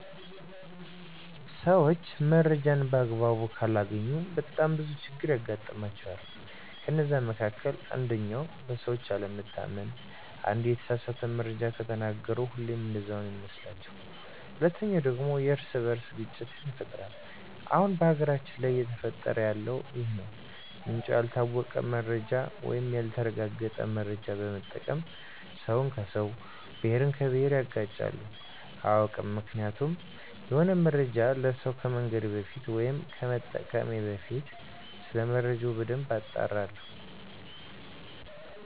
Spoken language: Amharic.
ሰዎች መረጃን በአግባቡ ካላገኙ በጣም ብዙ ችግሮች ያጋጥሟቸዋል ከነዛ መካከል አንደኛው በሰዎች አለመታመን አንዴ የተሳሳተ መረጃ ከተናገሩ ሁሌም እንደዛ ነው ሚመስሏቸዉ። ሁለተኛው ደግሞ የእርስ በእርስ ግጭት ይፈጠራል አሁን በሀገራችን ላይ እየተፈጠረ ያለው ይህ ነው ምንጩ ያልታወቀ መረጃን ወይም ያልተረጋገጠ መረጃ በመጠቀም ሰውን ከሰው፣ ብሄርን ከብሄር ያጋጫሉ። አያውቅም ምክንያቱም የሆነ መረጃን ለሰው ከመንገሬ በፊት ወይም ከመጠቀሜ በፊት ሰለመረጃው በደንብ አጣራለሁ።